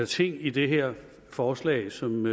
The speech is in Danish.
ting i det her forslag som